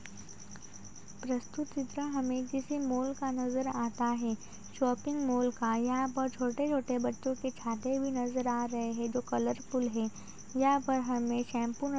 प्रस्तुत चित्र हमें किसी मॉल का नज़र आता है। शॉपिंग मॉल का यहाँ पर छोटे-छोटे बच्चों के छाते भी नज़र आ रहे हैं जो कलरफुल हैं। यहाँ पर हमें शैम्पू न --